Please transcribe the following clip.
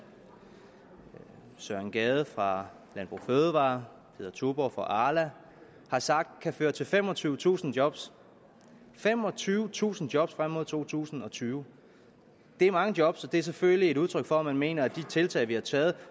søren gade fra landbrug fødevarer og peder tuborgh fra arla har sagt kan føre til femogtyvetusind jobs femogtyvetusind jobs frem mod to tusind og tyve det er mange jobs og det er selvfølgelig et udtryk for at man mener at de tiltag vi har taget